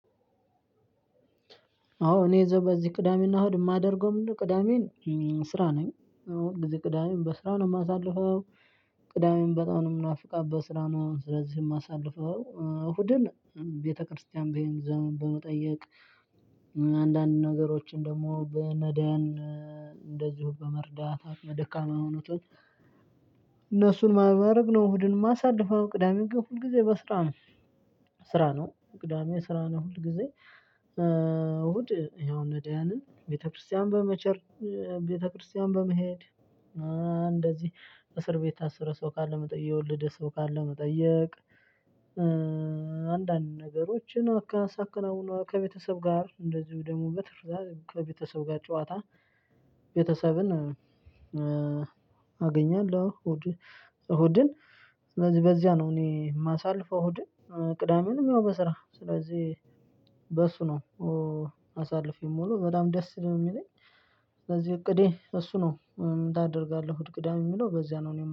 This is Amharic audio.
አዎ እኔ በዚህ ቅዳሜ እና እሁድ የማደርገው ምንድነው? ቅዳሜን ስራ ነኝ እዎ በዚህ ቅዳሜ በስራ ነው የማሳልፈው። ቅዳሜን በጣም ነው የምናፍቃት በስራ መሆን ስለዚህ የማሳልፈው እሁድን ቤተክርስቲያን በመሄድ ሰውን በመጠየቅ። አንዳንድ ነገሮችን ደግሞ በነዳን እንደዚሁ በመርዳት አቅመ ደካማ የሆኑትን። እነሱን በማድረግ ነው። እሁድን የማሳልፈው ቅዳሜው ግን ሁል ጊዜ በስራ ነው። ስራ ነው ቅዳሜ ስራ ነው ሁል ጊዜ። እሁድ ያው ነዳያንን ቤተክርስቲያን በመቸር። ቤተክርስቲያን በመሄድ። እንደዚህ እስር ቤት የታስረ ሰው ካለ መጠየቅ የወለደ ሰው ካለ መጠየቅ። አንዳንድ ነገሮችን ሳከናውን ከቤተሰብ ጋር እንደዚሁ ደግሞ በትርፍ ሰዓት ከቤተሰብ ጋር ጨዋታ። ቤተሰብን አገኛለሁ። እሁድ እሁድን ስለዚህ በዚያ ነው እኔ የማሳልፈው። እሁድን ቅዳሜንም ያው በስራ ስለዚህ በእሱ ነው። ማሳልፍ የሚውለው በጣም ደስ ነው የሚለኝ። ስለዚህ እቅዴ እሱ ነው። ምን ታደርጋለህ እሁድ ቅዳሜ ለሚለው በዚያ ነው እኔ